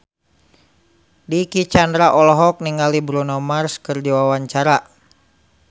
Dicky Chandra olohok ningali Bruno Mars keur diwawancara